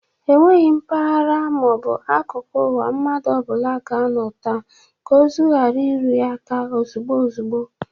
Onweghi mpaghara ma ọ bụ akuku uwa mmadụ ọbụla ga-anọ taa ka ozi ghara iru ya aka ozugbo ozugbo.